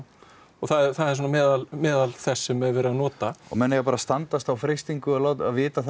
það er meðal meðal þess sem verið er að nota menn eiga bara að standast þá freistingu að vita